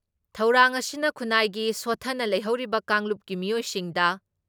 ꯊꯧꯔꯥꯡ ꯑꯁꯤꯅ ꯈꯨꯟꯅꯥꯏꯒꯤ ꯁꯣꯊꯅ ꯂꯩꯍꯧꯔꯤꯕ ꯀꯥꯡꯂꯨꯞꯀꯤ ꯃꯤꯑꯣꯏꯁꯤꯡꯗ